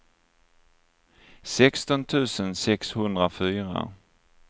sexton tusen sexhundrafyra